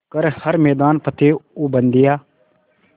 कर हर मैदान फ़तेह ओ बंदेया